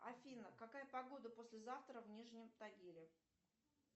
афина какая погода послезавтра в нижнем тагиле